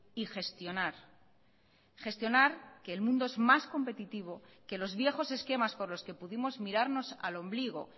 y gestionar gestionar que el mundo es más competitivo que los viejos esquemas por los que pudimos mirarnos al ombligo